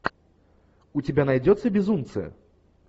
у тебя найдется безумцы